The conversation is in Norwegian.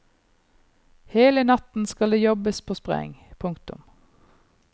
Hele natten skal det jobbes på spreng. punktum